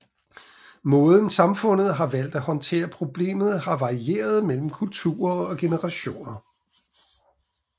Måden samfundet har valgt at håndtere problemet har varieret mellem kulturer og generationer